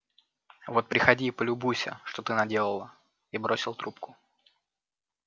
вот приходи и полюбуйся что ты наделала и бросил трубку